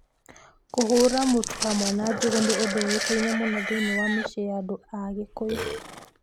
Kũhũũra mũtu hamwe na ngũyũ nĩ ũndũ ũĩkaine mũno thĩinĩ wa mĩciĩ ya andũ a Kikuyu.